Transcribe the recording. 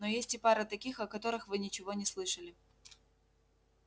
но есть и пара таких о которых вы ничего не слышали